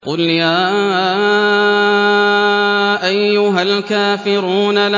قُلْ يَا أَيُّهَا الْكَافِرُونَ